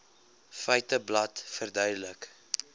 feiteblad verduidelik